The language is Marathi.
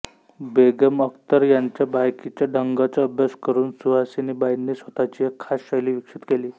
बेगम अख्तर यांच्या गायकीच्या ढंगाचा अभ्यास करून सुहासिनीबाईंनी स्वतःची एक खास शैली विकसित केली